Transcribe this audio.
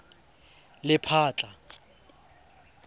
lephatla